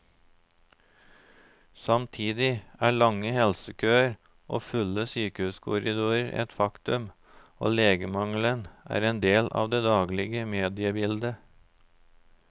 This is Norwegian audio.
Samtidig er lange helsekøer og fulle sykehuskorridorer et faktum, og legemangelen er en del av det daglige mediebildet.